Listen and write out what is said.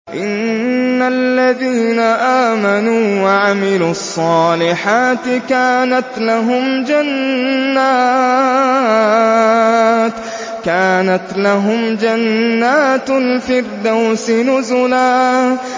إِنَّ الَّذِينَ آمَنُوا وَعَمِلُوا الصَّالِحَاتِ كَانَتْ لَهُمْ جَنَّاتُ الْفِرْدَوْسِ نُزُلًا